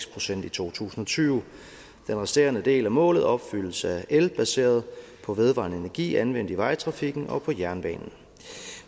procent i to tusind og tyve den resterende del af målet opfyldes af el baseret på vedvarende energi anvendt i vejtrafikken og på jernbanen